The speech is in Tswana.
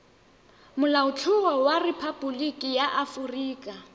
molaotlhomo wa rephaboliki ya aforika